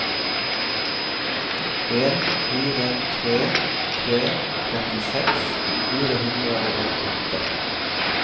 en fire tre tre trettiseks fire hundre og åttiåtte